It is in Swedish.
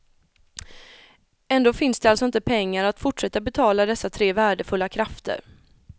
Ändå finns det alltså inte pengar att fortsätta betala dessa tre värdefulla krafter.